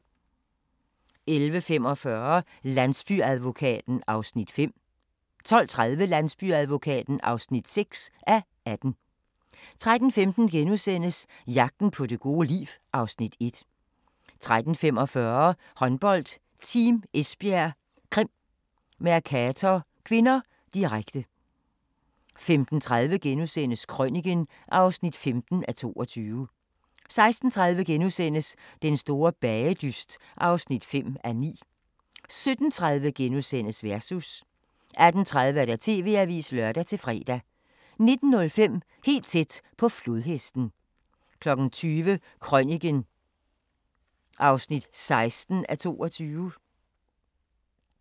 11:45: Landsbyadvokaten (5:18) 12:30: Landsbyadvokaten (6:18) 13:15: Jagten på det gode liv (Afs. 1)* 13:45: Håndbold: Team Esbjerg-Krim Mercator (k), direkte 15:30: Krøniken (15:22)* 16:30: Den store bagedyst (5:9)* 17:30: Versus * 18:30: TV-avisen (lør-fre) 19:05: Helt tæt på flodhesten 20:00: Krøniken (16:22)